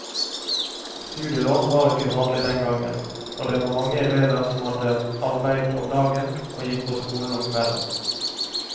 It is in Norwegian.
Studielån var ikke vanlig den gang, og det var mange elever som hadde arbeide om dagen, og gikk på skolen om kvelden.